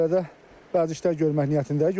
Qəbələdə bəzi işlər görmək niyyətindəyik.